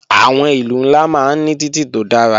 Àwọn ìlú ńlá máa ń ní títì tó dára